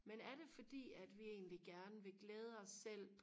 men er det fordi at vi egentlig gerne vil glæde os selv